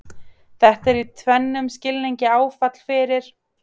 Þetta er í tvennum skilningi áfall fyrir